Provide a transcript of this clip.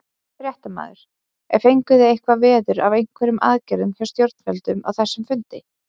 Fréttamaður: En fenguð þið eitthvað veður af einhverjum aðgerðum hjá stjórnvöldum á þessum fundi?